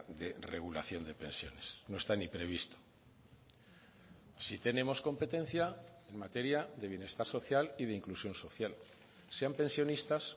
de regulación de pensiones no está ni previsto sí tenemos competencia en materia de bienestar social y de inclusión social sean pensionistas